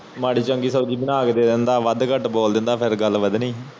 ਮਾੜੀ ਚੰਗੀ ਸਬਜ਼ੀ ਬਣਾ ਕੇ ਦੇ ਦਿੰਦਾ ਵਾਦ ਕਟ ਬੋਲ ਦਿੰਦਾ ਫਿਰ ਗੱਲ ਬਦਨੀ ਸੀ